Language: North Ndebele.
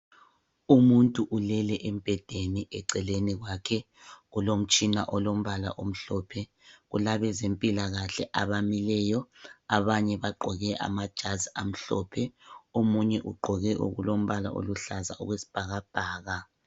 Umuntu ulele embhedeni eceleni kwakhe kulomtshina olombala omhlophe. kulabezempilakahle abamileyo abanye bagqoke amajazi amhlophe omunye ugqoke kulombala oluhlaza okwesibhakabhaka